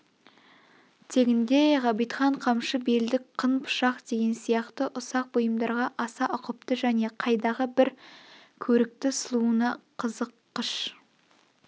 тегінде ғабитхан қамшы белдік қын пышақ деген сияқты ұсақ бұйымдарға аса ұқыпты және қайдағы бір көрікті сұлуына қызыққыш